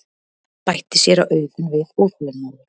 bætti séra Auðunn við óþolinmóður.